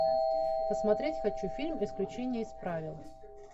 посмотреть хочу фильм исключение из правил